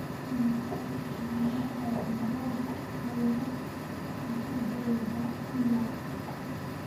immisa dukaamo oo mboga ayaa xaafaddayda ku yaal